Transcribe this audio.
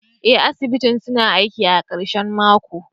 Ee, asibiti suna aiki a karshen mako.